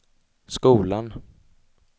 skolan